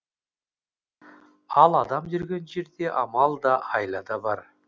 ал адам жүрген жерде амал да айла да бар